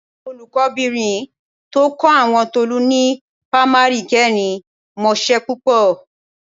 Olùkọ́bìnrin tó kọ́ àwọn Tolú ni pamari kẹrin mọṣẹ́ púpọ̀